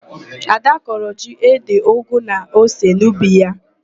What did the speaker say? Ada kọrọ ji, ede, ụgụ na ose n'ubi ya.